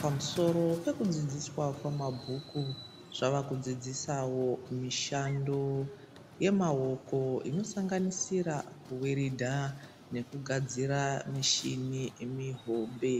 pamusoro pekudzidziswa kwemabhuku zvavakudzidzisawo mushando yemaoko inosanganisira kuweredha nekugadzira michini mihombe